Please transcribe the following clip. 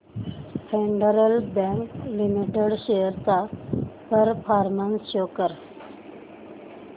federal bank limited shares चा performance show कर